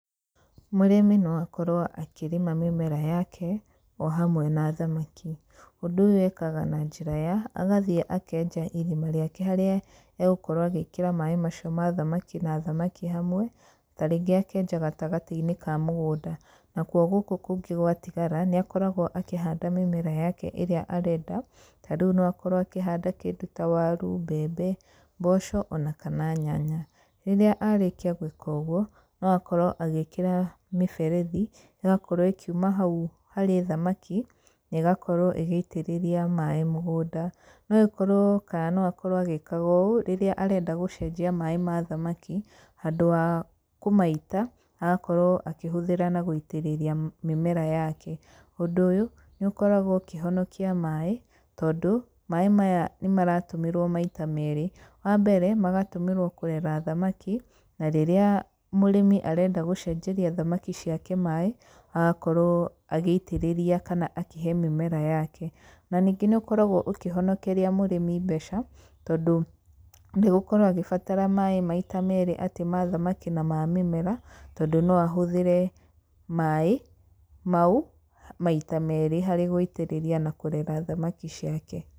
Mũrĩmi no akorwo akĩrĩma mĩmera yake, o hamwe na thamaki. Ũndũ ũyũ ekaga na njĩra ya, agathiĩ akenja irima rĩake harĩa egũkorwo agĩkĩra maaĩ macio ma thamaki na thamaki hamwe, tarĩngĩ akenja gatagatĩ-inĩ ka mũgũnda. Na kuo gũkũ kũngĩ gwatigara, nĩ akoragwo akĩhanda mĩmera yake ĩrĩa arenda. Ta rĩu no akorwo akĩhanda kĩndũ ta waru, mbembe, mboco, ona kana nyanya. Rĩrĩa arĩkia gwĩka ũguo, no akorwo agĩkĩra mĩberethi, ĩgakorwo ĩkiuma hau harĩ thamaki, na ĩgakorwo ĩgĩitĩrĩria maaĩ mũgũnda. No ĩkorwo kana no akorwo agĩkaga ũũ, rĩrĩa arenda gũcenjia maaĩ ma thamaki, handũ wa kũmaita, agakorwo akĩhũthĩra na gũitĩrĩria mĩmera yake. Ũndũ ũyũ, nĩ ũkoragwo ũkĩhonokia maaĩ, tondũ, maaĩ maya nĩ maratũmĩrwo maita meerĩ. Wa mbere, magatũmĩrwo kũrera thamaki, na rĩrĩa mũrĩmi arenda gũcenjeria thamaki ciake maaĩ, agakorwo agĩitĩrĩria kana akĩhe mĩmera yake. Na ningĩ níĩũkoragwo ũkĩhonokeria mũrĩmi mbeca, tondũ ndegũkorwo agĩbatara maaĩ maita meerĩ, atĩ ma thamaki na ma mĩmera, tondũ no ahũthĩre maaĩ, mau maita meerĩ harĩ gũitĩrĩria na kũrera thamaki ciake.